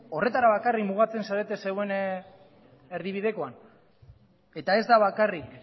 horretara bakarrik mugatzen zarete zeuen erdibidekoan eta ez da bakarrik